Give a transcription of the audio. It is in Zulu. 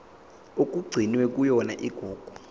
okugcinwe kuyona igugu